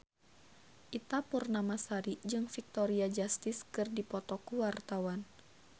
Ita Purnamasari jeung Victoria Justice keur dipoto ku wartawan